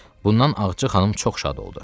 Bundan Ağca xanım çox şad oldu.